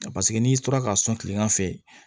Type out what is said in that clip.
Paseke n'i tora k'a sɔn tilegan fɛ